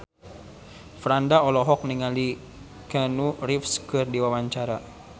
Franda olohok ningali Keanu Reeves keur diwawancara